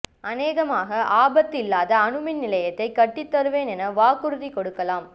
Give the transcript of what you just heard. அனேகமாக ஆபத்தில்லாத அணுமின் நிலையத்தைக் கட்டித்தருவேன் என வாக்குறுதி கொடுக்கலாம்